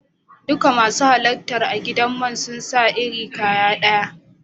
Dukan masu halarta a'gidan man sun sa iri kaya daya.